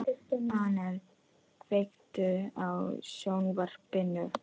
Annel, kveiktu á sjónvarpinu.